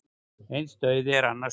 Eins dauði er annars brauð.